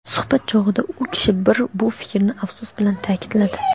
Suhbat chog‘ida u kishi bir fikrni afsus bilan taʼkidladi.